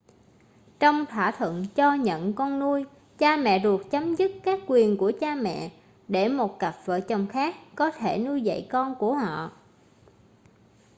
trong thỏa thuận cho-nhận con nuôi cha mẹ ruột chấm dứt các quyền của cha mẹ để một cặp vợ chồng khác có thể nuôi dạy con của họ